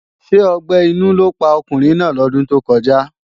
Ṣé ọgbẹ́ inú ló pa ọkùnrin náà lọ́dún tó kọjá?